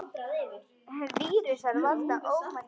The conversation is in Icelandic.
Vírusar valda ómældum usla.